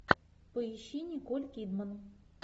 поищи николь кидман